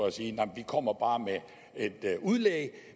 at sige nej vi kommer bare med et udlæg